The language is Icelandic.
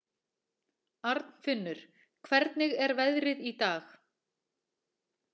Arnfinnur, hvernig er veðrið í dag?